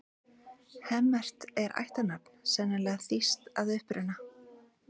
Hemmert er ættarnafn, sennilega þýskt að uppruna.